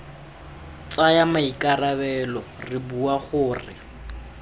tsaya maikarabelo re bua gore